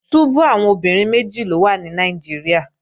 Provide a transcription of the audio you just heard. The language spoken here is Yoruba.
Túbú àwọn obìnrin méjì ló wà ní Nàìjíríà